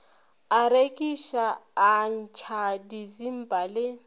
a rekiša atšha disimba le